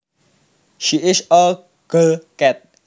She is a girl cat